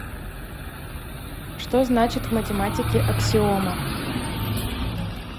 что значит в математике аксиома